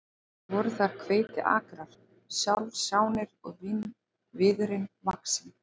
Voru þar hveitiakrar sjálfsánir og vínviður vaxinn.